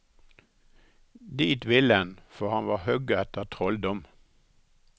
Dit ville 'n for han va hoga etter trølldom.